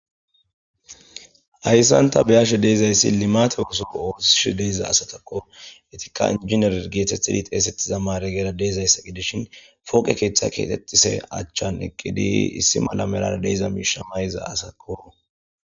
Hayssan ta be7ashe deezayssi limaate osoko oosishe deeza asatakko. etika injinar geetethidi xeesettiza mare geera deezayssa gidishin fooqe keeththa keexise achchan eqqidi issi mala merara deeza miisha mayza asako.